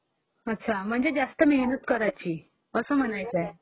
अच्छा जास्त मेहनत करावं लागंल, असं म्हणायचंय..